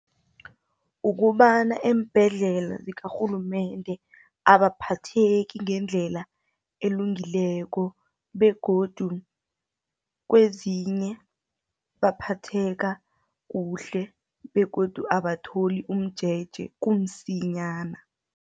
Ukobana eembhedlela zikarhulumende, abaphatheki ngendlela elungileko, begodu kwezinye baphatheka kuhle, begodu abatholi umjeje kumsinyana.